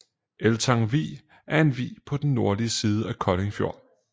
Eltang Vig er en vig på den nordlige side af Kolding Fjord